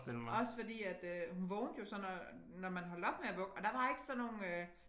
Også fordi at øh hun vågnede jo så når når man holdt op med at vugge og der var ikke sådan nogle øh